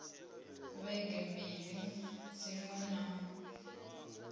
ha vhege mbili dziṅwe na